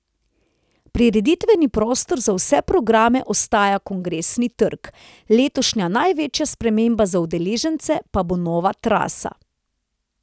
Prireditveni prostor za vse programe ostaja Kongresni trg, letošnja največja sprememba za udeležence pa bo nova trasa.